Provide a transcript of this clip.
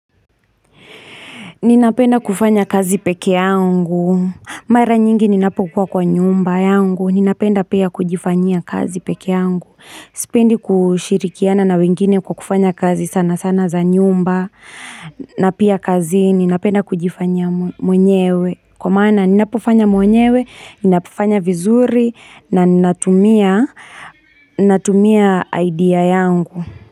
Ninapenda kufanya kazi pekee yangu. Mara nyingi ninapokua kwa nyumba yangu. Ninapenda pia kujifanyia kazi peke yangu. Sipendi kushirikiana na wengine kwa kufanya kazi sana sana za nyumba. Na pia kazini napenda kujifanyia mwenyewe. Kwa maana ninapofanya mwenyewe, ninafanya vizuri na natumia idea yangu.